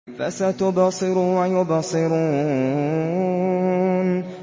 فَسَتُبْصِرُ وَيُبْصِرُونَ